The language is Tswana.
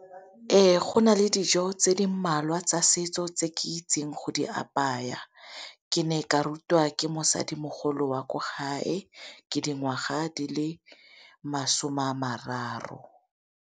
Ee, go na le dijo tse di mmalwa tsa setso tse ke di itseng go di apaya, ke ne ka rutwa ke mosadimogolo wa ko gae ke dingwaga di le masome a mararo.